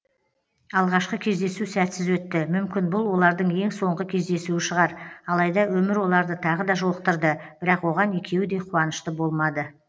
алғашқы кездесу сәтсіз өтті мүмкін бұл олардың ең соңғы кездесуі шығар алайда өмір оларды тағы да жолықтырды бірақ оған екеуі де қуанышты болмады